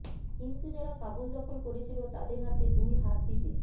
কিন্তু যারা কাবুল দখল করেছিল তাদের হাতে দুই হাত দিতে